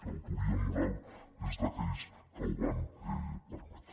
l’autoria moral és d’aquells que ho van permetre